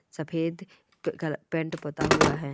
सफेद प पैंट पुता है।